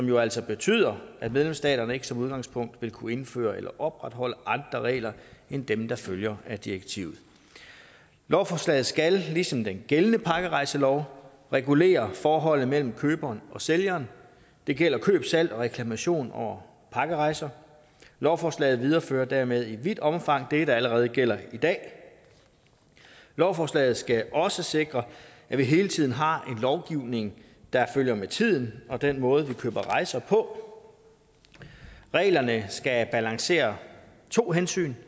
jo altså betyder at medlemsstaterne som udgangspunkt ikke vil kunne indføre eller opretholde andre regler end dem der følger af direktivet lovforslaget skal ligesom den gældende pakkerejselov regulere forholdet mellem køberen og sælgeren det gælder køb salg og reklamation over pakkerejser lovforslaget viderefører dermed i vidt omfang det der allerede gælder i dag lovforslaget skal også sikre at vi hele tiden har en lovgivning der følger med tiden og den måde vi køber rejser på reglerne skal balancere to hensyn